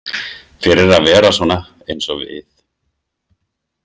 Fyrir að vera svona eins og við.